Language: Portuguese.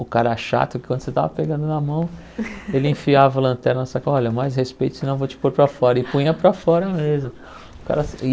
O cara chato, que quando você estava pegando na mão, ele enfiava o lanterna na sua ca, olha, mais respeito, senão eu vou te pôr para fora, e punha para fora mesmo.